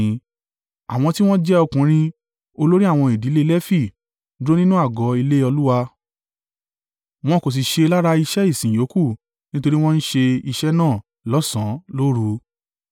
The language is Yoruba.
Àwọn tí wọ́n jẹ́ ọkùnrin, olórí àwọn ìdílé Lefi dúró nínú àgọ́ ilé Olúwa, wọn kò sì ṣe lára iṣẹ́ ìsìn yòókù nítorí wọ́n ń ṣe iṣẹ́ náà lọ́sàn, lóru.